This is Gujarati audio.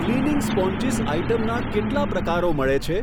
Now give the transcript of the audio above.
ક્લીનિંગ સ્પોંજીસ આઇટમના કેટલા પ્રકારો મળે છે?